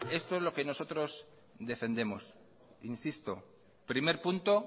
esto es lo que nosotros defendemos insisto primer punto